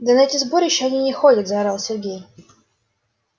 да на эти сборища они не ходят заорал сергей